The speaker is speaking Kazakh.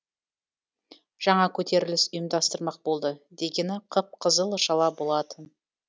жаңа көтеріліс ұйымдастырмақ болды дегені қып қызыл жала болатын